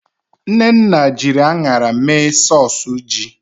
Nnenna jiri aṅara mee sọs ji